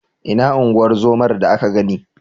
Ina unguwar zomar da ka gani?